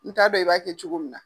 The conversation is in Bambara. N t'a dɔn i b'a kɛ cogo min na.